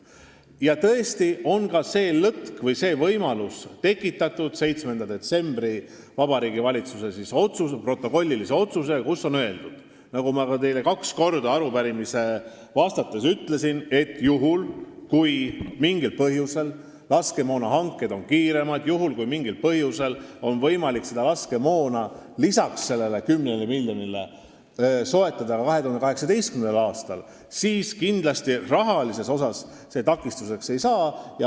Ja tõesti, on tekitatud ka see lõtk või võimalus 7. detsembri Vabariigi Valitsuse protokollilise otsusega, kus on kirjas see, millest ma teile arupärimisele vastates juba kaks ütlesin, et juhul, kui laskemoonahanked on mingil põhjusel kiiremad ja meil on võimalik laskemoona soetada ka 2018. aastal, peale selle 10 miljoni, siis kindlasti rahalises mõttes see takistuseks ei saa.